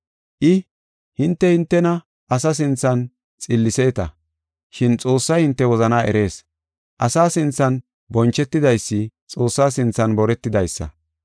I, “Hinte, hintena asa sinthan xilliseeta, shin Xoossay hinte wozana erees. Asa sinthan bonchetidaysi Xoossa sinthan boretidaysa.